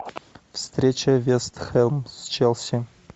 встреча вест хэм с челси